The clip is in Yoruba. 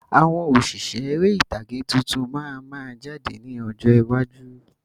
Àwọn òṣìṣẹ́ ère ìtàgé tuntun máa ma jáde ní ọjọ́ iwájú.